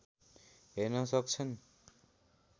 हेर्न सक्छन्